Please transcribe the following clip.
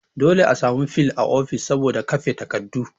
Dole a sami fil a office saboda kafe takardu